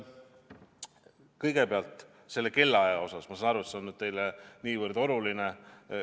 Kõigepealt sellest kellaajast – ma saan aru, et see on teile nii oluline.